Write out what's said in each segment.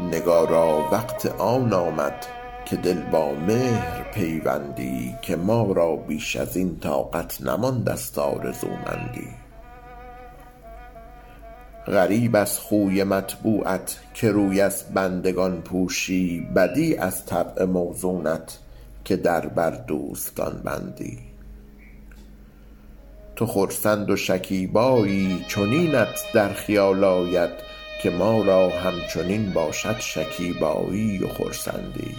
نگارا وقت آن آمد که دل با مهر پیوندی که ما را بیش از این طاقت نمانده ست آرزومندی غریب از خوی مطبوعت که روی از بندگان پوشی بدیع از طبع موزونت که در بر دوستان بندی تو خرسند و شکیبایی چنینت در خیال آید که ما را همچنین باشد شکیبایی و خرسندی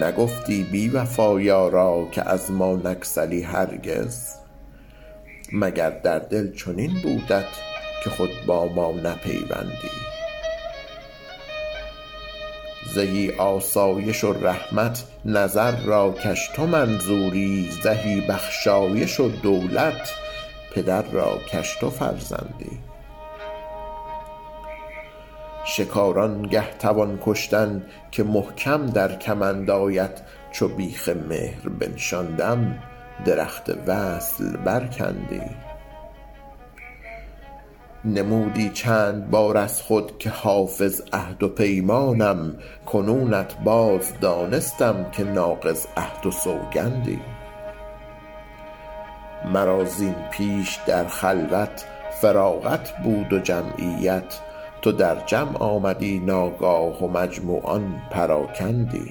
نگفتی بی وفا یارا که از ما نگسلی هرگز مگر در دل چنین بودت که خود با ما نپیوندی زهی آسایش و رحمت نظر را کش تو منظوری زهی بخشایش و دولت پدر را کش تو فرزندی شکار آن گه توان کشتن که محکم در کمند آید چو بیخ مهر بنشاندم درخت وصل برکندی نمودی چند بار از خود که حافظ عهد و پیمانم کنونت باز دانستم که ناقض عهد و سوگندی مرا زین پیش در خلوت فراغت بود و جمعیت تو در جمع آمدی ناگاه و مجموعان پراکندی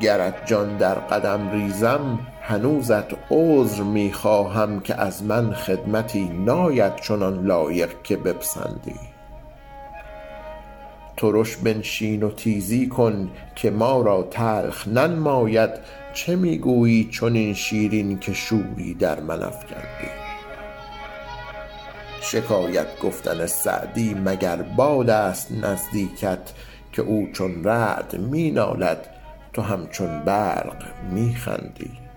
گرت جان در قدم ریزم هنوزت عذر می خواهم که از من خدمتی ناید چنان لایق که بپسندی ترش بنشین و تیزی کن که ما را تلخ ننماید چه می گویی چنین شیرین که شوری در من افکندی شکایت گفتن سعدی مگر باد است نزدیکت که او چون رعد می نالد تو همچون برق می خندی